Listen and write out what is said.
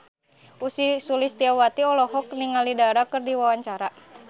Ussy Sulistyawati olohok ningali Dara keur diwawancara